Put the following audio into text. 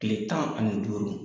Tile tan ani duuru